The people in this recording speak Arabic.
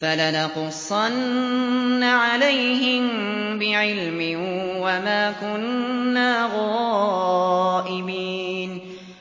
فَلَنَقُصَّنَّ عَلَيْهِم بِعِلْمٍ ۖ وَمَا كُنَّا غَائِبِينَ